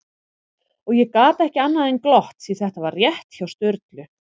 Og ég gat ekki annað en glott, því þetta var rétt hjá Sturlu